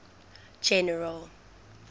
general